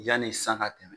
Yanni san ka tɛmɛ